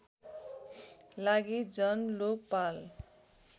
लागि जन लोकपाल